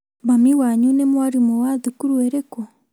Mami wanyu nĩ mwarimũ wa thukuru ĩrĩkũ?